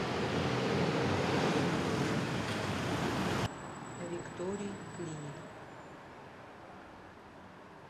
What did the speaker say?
виктори клиник